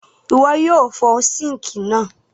Ìwo yio fo sink náà